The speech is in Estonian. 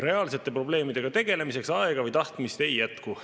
Reaalsete probleemidega tegelemiseks aega või tahtmist ei jätku.